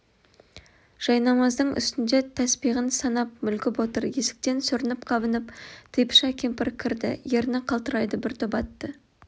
жайнамаздың үстінде тәспиғын санап мүлгіп отыр есіктен сүрініп-қабынып типыша кемпір кірді ерні қалтырайды бір топ атты